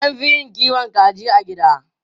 An fi yin kiwon kaji a gida.